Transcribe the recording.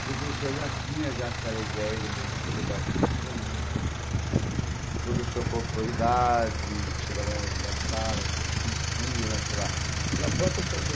Porque o professor já tinha aquela ideia do professor mais tradicional, o professor com autoridade, que chegava nas salas e se se impunha pela pela própria situação.